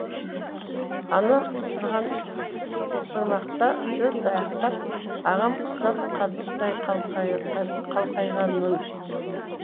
анам сырған сырмақта төрт аяқтап ағам құсап қазықтай қалқайғанмын